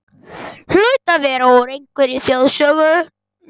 Hlaut að vera úr einhverri þjóðsögunni.